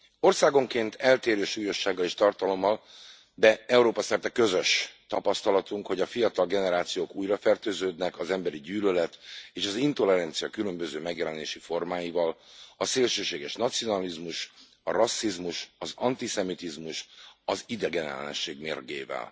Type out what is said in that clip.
Országonként eltérő súlyossággal és tartalommal, de Európa szerte közös tapasztalatunk, hogy a fiatal generációk újrafertőződnek az emberi gyűlölet és az intolerancia különböző megjelenési formáival, a szélsőséges nacionalizmus, a rasszizmus, az antiszemitizmus, az idegenellenesség mérgével.